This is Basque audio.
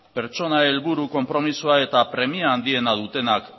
pertsona helburu konpromisoa eta premia handiena dutenak